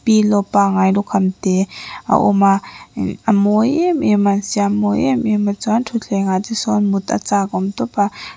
pillow pangai lukham te a awma umh a mawi em em a siam mawi em em a chuan thuthleng ah te sawn mut a chakawm tawpa.